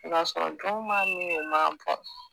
i b'a sɔrɔ dɔw m'a min u m'a bɔn